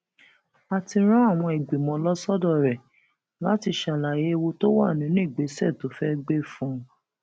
a ti rán àwọn ìgbìmọ lọ sọdọ rẹ láti ṣàlàyé ewu tó wà nínú ìgbésẹ tó fẹẹ gbé fún un